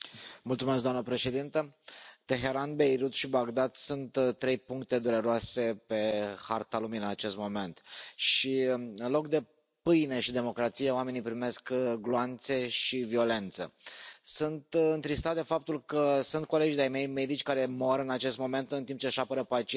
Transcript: Doamna președintă, Teheran, Beirut și Bagdad sunt trei puncte dureroase pe harta lumii în acest moment și, în loc de pâine și democrație, oamenii primesc gloanțe și violență. Sunt întristat de faptul că sunt colegi de ai mei, medici, care mor în acest moment în timp ce își apără pacienții.